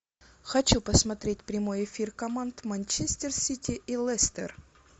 хочу посмотреть прямой эфир команд манчестер сити и лестер